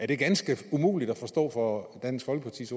det ganske umuligt at forstå for dansk folkepartis